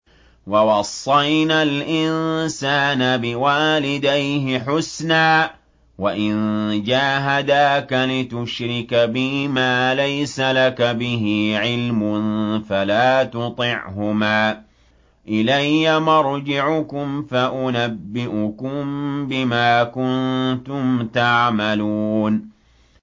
وَوَصَّيْنَا الْإِنسَانَ بِوَالِدَيْهِ حُسْنًا ۖ وَإِن جَاهَدَاكَ لِتُشْرِكَ بِي مَا لَيْسَ لَكَ بِهِ عِلْمٌ فَلَا تُطِعْهُمَا ۚ إِلَيَّ مَرْجِعُكُمْ فَأُنَبِّئُكُم بِمَا كُنتُمْ تَعْمَلُونَ